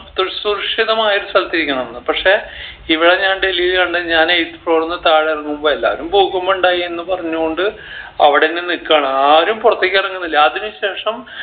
തു സുരക്ഷിതമായ ഒരു സ്ഥലത്ത് നിക്കണംന്ന് പക്ഷെ ഇവിടാ ഞാൻ ഡൽഹീൽ കണ്ടെ ഞാൻ eighth floor ന്ന് താഴെ എറങ്ങുമ്പോ എല്ലാരും ഭൂകമ്പമുണ്ടായി എന്ന് പറഞ്ഞ് കൊണ്ട് അവിടെന്നെ നിക്കാണ് ആരും പൊറത്തേക്ക് എറങ്ങുന്നില്ല അതിന് ശേഷം